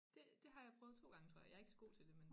Det det har jeg prøvet 2 gange tror jeg jeg ikke så god til det men